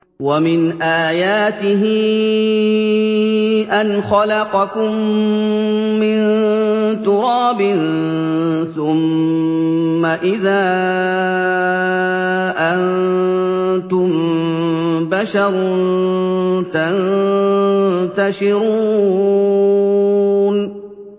وَمِنْ آيَاتِهِ أَنْ خَلَقَكُم مِّن تُرَابٍ ثُمَّ إِذَا أَنتُم بَشَرٌ تَنتَشِرُونَ